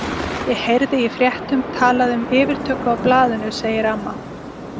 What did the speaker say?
Ég heyrði í fréttum talað um yfirtöku á blaðinu, segir amma.